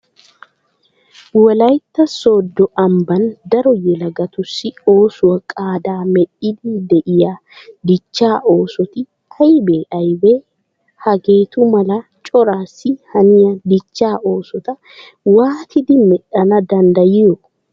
Wolaytta sooddo ambban daro yelagatussi oosuwa qaadaa medhdhiiddi de'iya dichchaa oosoti aybee aybee? Hageetu mala coraassi haniya dichchaa oosota waatidi medhdhana danddayiyo?